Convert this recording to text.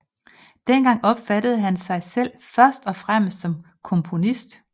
Dengang opfattede han sig selv først og fremmest som komponist